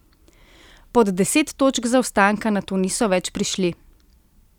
Pod deset točk zaostanka nato niso več prišli.